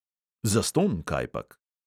Zastonj, kajpak.